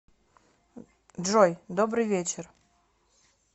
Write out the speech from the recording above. джой добрый вечер